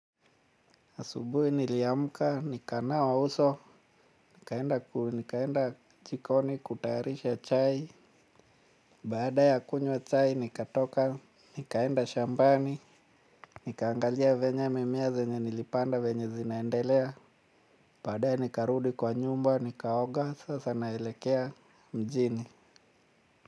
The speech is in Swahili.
Asubuhi niliamuka, nikanawa uso, nikaenda jikoni kutayarisha chai, baada ya kunywa chai nikatoka, nikaenda shambani, nikaangalia venye mimea zenye nilipanda venye zinaendelea, baadae nikarudi kwa nyumba, nikaoga, sasa naelekea mjini.